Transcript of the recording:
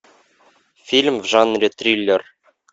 фильм в жанре триллер